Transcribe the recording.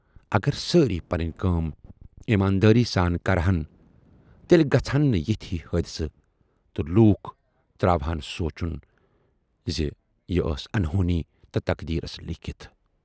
اگر سٲری پنٕنۍ کٲم ایماندٲری سان کرٕہَن تیلہِ گژھٕہَن نہٕ یِتھۍ ہِوِۍ حٲدۍثہٕ تہٕ لوٗکھ تراوٕہان سونچُن زِ یہِ ٲس انہونی تہٕ تقدیٖرس لیٖکھِتھ۔